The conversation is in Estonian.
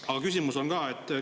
Aga küsimus on ka.